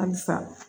Alisa